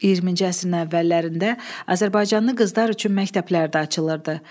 20-ci əsrin əvvəllərində azərbaycanlı qızlar üçün məktəblər də açılırdı.